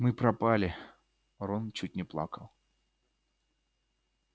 мы пропали рон чуть не плакал